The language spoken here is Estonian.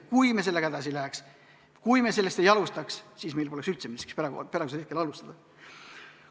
Kui me sellega edasi ei läheks, kui me sellest ei alustaks, siis meil poleks üldse midagi, millest alustada.